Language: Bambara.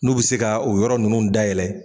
N'u bɛ se ka o yɔrɔ nunnu dayɛlɛ.